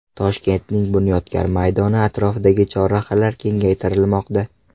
Toshkentning Bunyodkor maydoni atrofidagi chorrahalar kengaytirilmoqda.